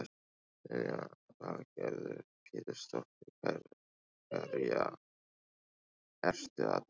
Lillý Valgerður Pétursdóttir: Hverja ertu að tala um?